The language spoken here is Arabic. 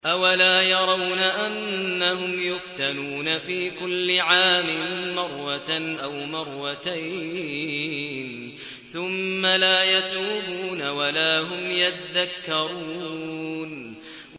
أَوَلَا يَرَوْنَ أَنَّهُمْ يُفْتَنُونَ فِي كُلِّ عَامٍ مَّرَّةً أَوْ مَرَّتَيْنِ ثُمَّ لَا يَتُوبُونَ وَلَا هُمْ يَذَّكَّرُونَ